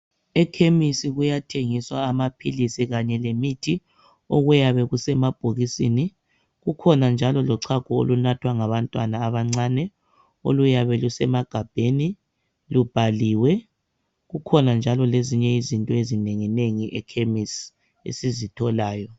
Ekhemisi kuyathengiswa amaphilizi kanye lemithi okuyabe kusemabhokisini. Kukhona njalo lochago olunathwa ngabantwana abancane oluyabe lusemagabheni lubhaliwe kukhona njalo lezinye izinto ezinenginengi ekhemisi esizitholayo.